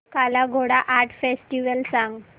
काला Ghoda art festival सांग